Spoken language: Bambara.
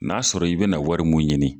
N'a sɔrɔ i bɛna wari mun ɲini.